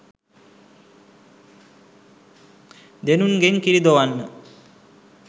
දෙනුන්ගෙන් කිරි දොවන්න